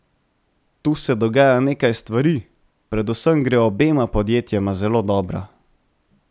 Tu se dogaja nekaj stvari, predvsem gre obema podjetjema zelo dobro.